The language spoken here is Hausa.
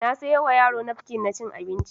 Na sayowa yaro nafkin na cin abinci